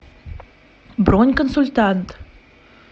бронь консультант